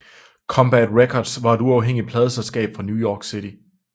Combat Records var et uafhængigt pladeselskab fra New York City